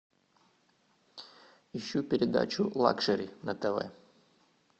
ищу передачу лакшери на тв